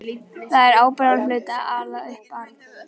Það er ábyrgðarhluti að ala upp barn.